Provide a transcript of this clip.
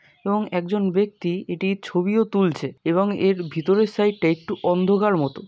এবং একজন ব্যক্তি এটির ছবিও তুলছে এবং এর ভিতরের সাইড টা একটু অন্ধকার মত ।